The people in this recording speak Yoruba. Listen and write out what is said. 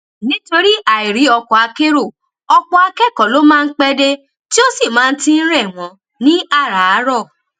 nítorí àìrí ọkọakérò ọpọ akẹkọọ ló máa ń pé dé tí ó sì máa ti n rẹ wọn ní àràárọ